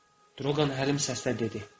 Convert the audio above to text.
Drolqam həlim səslə dedi.